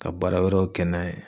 Ka baara wɛrɛw kɛ n'a ye.